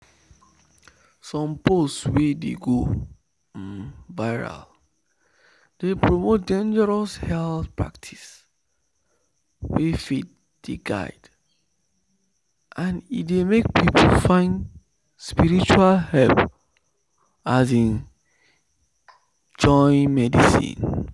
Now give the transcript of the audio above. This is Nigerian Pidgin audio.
some post wey don go um viral dey promote dangerous health practice wey faith dey guide and e dey make people find spiritual help um join medicine.